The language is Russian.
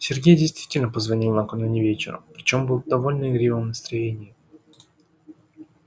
сергей действительно позвонил накануне вечером причём был в довольно игривом настроении